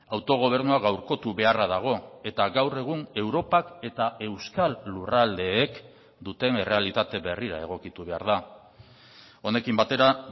autogobernua gaurkotu beharra dago eta gaur egun europak eta euskal lurraldeek duten errealitate berrira egokitu behar da honekin batera